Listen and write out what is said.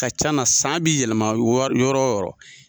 Ka ca na, san b' i yɛlɛma yɔrɔ o yɔrɔ.